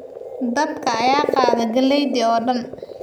Daadka ayaa qaaday galeeydi oo dhan